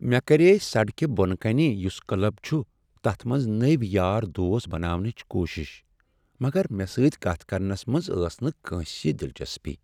مےٚ کرییہ سڑکہ بۄنہٕ کنہ یس کلب چھ تتھ منز نٔوۍ یار دوس بناونٕچ کوشش، مگر مےٚ سۭتۍ کتھ کرنس منز ٲس نہٕ کٲنسہ دلچسپی۔